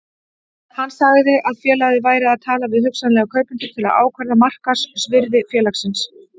Hann sagði að félagið væri að tala við hugsanlega kaupendur til að ákvarða markaðsvirði félagsins.